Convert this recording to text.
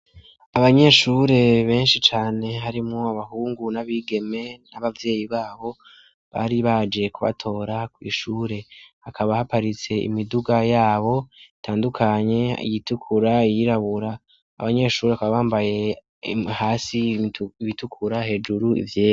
Abanyeshure benshi cane harimwo abahungu n'abigeme n'abavyeyi babo, bari baje kubatora kw'ishure. Hakaba haparitse imiduga yabo itandukanye, iyitukura, iyirabura; abanyeshuri bakaba bambaye hasi ibitukura hejuru ivyer..